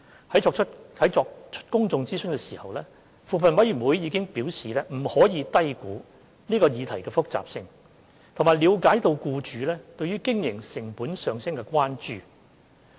在作出公眾諮詢時，扶貧委員會已表示不可低估這項議題的複雜性，並了解僱主對經營成本上升的關注。